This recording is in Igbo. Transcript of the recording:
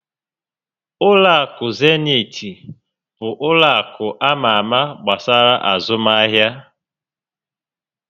Ụlọ akụ Zenit bụ ụlọ akụ ama ámá gbasara azụmahịa